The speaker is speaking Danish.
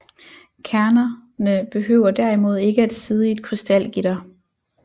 Kernerne behøver derimod ikke at sidde i et krystalgitter